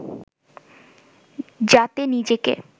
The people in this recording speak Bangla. যাতে নিজেকে